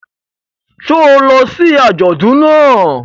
Ṣé o lọ sí àjọdùn náà?